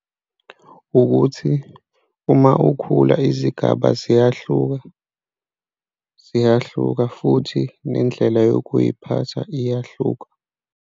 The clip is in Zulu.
Ukuthi uma ukhula izigaba ziyahluka, ziyahluka futhi nendlela yokuy'phatha iyahluka.